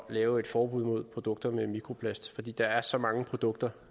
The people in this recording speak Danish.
lave et forbud mod produkter med mikroplast fordi der er så mange produkter